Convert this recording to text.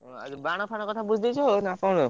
ଓଃ ଆଉ ବାଣ ଫାଣ କଥା ସବୁ ବୁଝିଦେଇଛ ନାଁ କଣ?